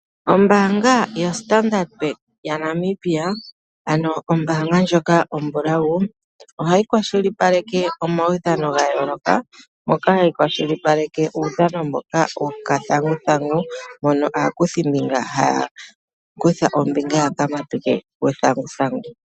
Ombaanga yaStandard Bank yaNamibia, ano ombaanga ndjoka ombulawu ohayi kwashilipaleke omaudhano ga yooloka moka hayi kwashilipaleke uudhano mboka gokathanguthangu mono aakuthimbika haya kutha ombinga yokuhinga uuthanguthangu.